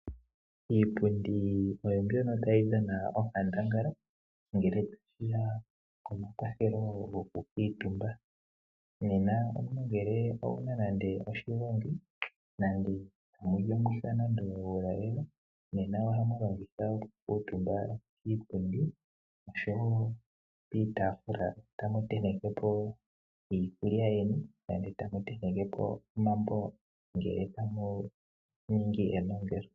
Iipundi oyo mbwono tayi dhana onkandangala ngele ta shiya pomakwatheli gwoku kwitumba. Nena omuntu nge owuna nande oshigongi nande amuli omuha nenge uulalelo nena ohamu longitha oku kutumba kiipundi noshowo kiitafula tamu tentekepo iikulya yeni Nande tamu tentekepo omambongele tamu ningi kenongelo.